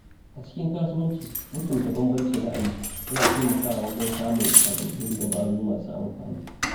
A cikin kasuwanci, mutunta bambancin ra’ayi yana taimakawa wajen samun sababbin dabaru masu amfani.